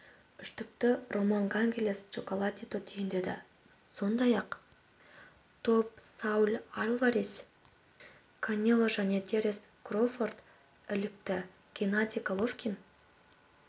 үштікті роман гонсалес чоколатито түйіндеді сондай-ақ топ сауль альварес канело жәнетеренс кроуфорд ілікті геннадий головкин